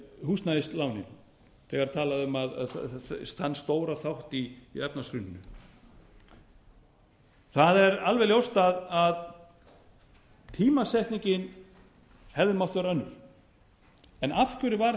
húsnæðislánin þegar talað er um þann stóra þátt í efnahagshruninu það er alveg ljóst að tímasetningin hefði mátt vera önnur en af hverju var